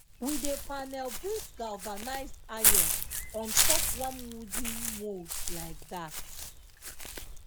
we dey panel beat galvanized iron on top one wooden mould like dat